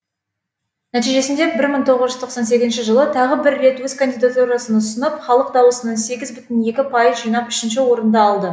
нәтижесінде бір мың тоғыз тоқсан сегізінші жылы тағы бір рет өз кандидатурасын ұсынып халық даусының сегіз бүтін екі пайыз жинап үшінші орынды алды